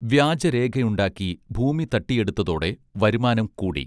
വ്യാജ രേഖയുണ്ടാക്കി ഭൂമി തട്ടിയെടുത്തതോടെ വരുമാനം കൂടി